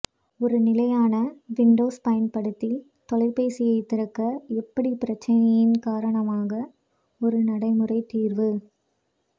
ஒரு நிலையான விண்டோஸ் பயன்படுத்தி தொலைபேசி திறக்க எப்படி பிரச்சினையின் காரணமாக ஒரு நடைமுறை தீர்வு